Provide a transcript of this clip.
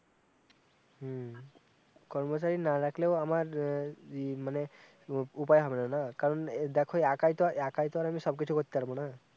হম কর্মচারী না রাখলেও আমার ই মানে উপায় হবেনা না কারণ দেখো একাই তো একাই তো আর আমি সব কিছু করতে পারবনা না